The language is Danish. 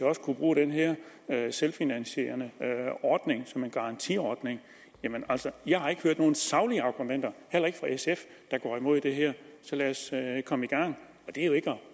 også kan bruge den her selvfinansierende ordning som en garantiordning jeg har ikke hørt nogen saglige argumenter heller ikke fra sf der går imod det her så lad os komme i gang